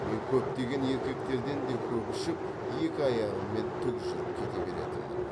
мен көптеген еркектерден де көп ішіп екі аяғыммен тік жүріп кете беретінмін